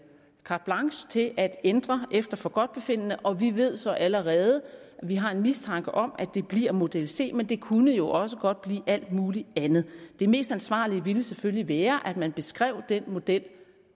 carte blanche til at ændre efter forgodtbefindende og vi ved så allerede eller vi har en mistanke om at det bliver model c men det kunne jo også godt blive alt muligt andet det mest ansvarlige ville selvfølgelig være at man beskrev den model